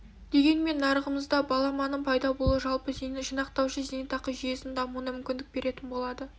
дегенмен нарығымызда баламаның пайда болуы жалпы жинақтаушы зейнетақы жүйесінің дамуына мүмкіндік беретін болады